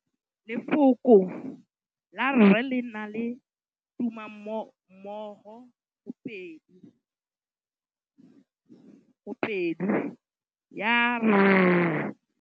Lefoko la rre, le na le tumammogôpedi ya, r.